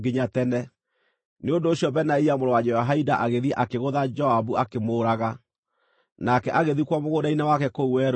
Nĩ ũndũ ũcio Benaia mũrũ wa Jehoiada agĩthiĩ akĩgũtha Joabu akĩmũũraga, nake agĩthikwo mũgũnda-inĩ wake kũu werũ-inĩ.